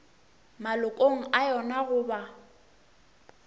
malokong a yona go ba